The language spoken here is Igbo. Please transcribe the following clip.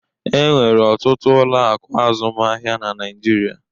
E nwere ọtụtụ ụlọ akụ azụmaahịa na Naịjirịa